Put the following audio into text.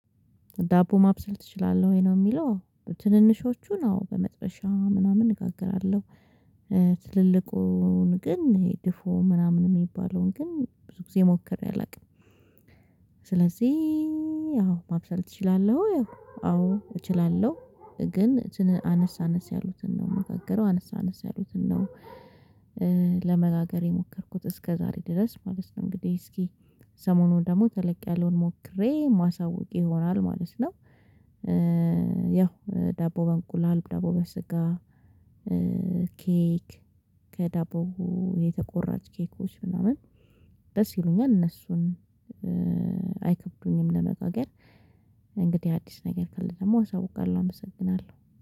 ዳቦ ማብሰል ትችላለህ ወይ ነው የሚለው ትንንሾቹ ነው በመጥበሻ ምናምን እጋግራለሁ። ትልልቁን ግን ይሄ ድፎ ምናምን የሚባለውን ግን ብዙ ጊዜ ሞክሬ አላውቅም። ስለዚህ አዎ ማብሰል እችላለሁ። አዎ። እችላለሁ ግን አነስ አነስ ያሉትን ነው የምጋግረው አነስ አነስ ያሉትን ነው። ለመጋገር የሞከርኩት እስከ ዛሬ ድረስ ማለት ነው። እንግዲህ እስኪ ሰሞኑን ደግሞ ተለቅ ያለውን ሞክሬ ማሳወቅ ይሆናል ማለት ነው። ያው ዳቦ በእንቁላል ዳቦ በስጋ። ኬክ ከዳቦ የተቆራጭ ኬኮች ምናምን። ደስ ይሉኛል እነሱን። አይከብዱኝም ለመጋገር። እንግዲህ አዲስ ነገር ካለ ደግሞ ሰው አሳውቃለው አመሰግናለሁ